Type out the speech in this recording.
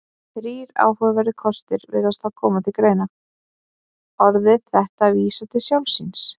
Þrír áhugaverðir kostir virðast þá koma til greina: Orðið þetta vísar til sjálfs sín.